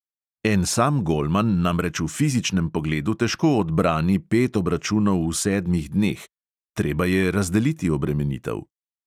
En sam golman namreč v fizičnem pogledu težko odbrani pet obračunov v sedmih dneh, treba je razdeliti obremenitev.